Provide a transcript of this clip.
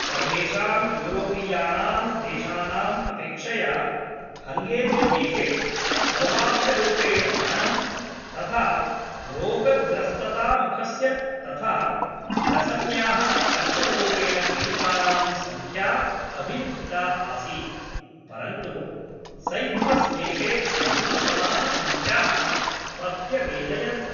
सर्वेषां यूरोपीयानां देशानाम् अपेक्षया हङ्गेरीदेशे सर्वाधिकरूपेण मरणं तथा रोगग्रस्तता मुखस्य तथा ग्रसन्याः कर्करोगेण पीडितानां सङ्ख्या अभिलिखिता आसीत्, परन्तु सैप्रस् देशे न्यूनतमाः संख्याः प्रत्यवेदयन्त।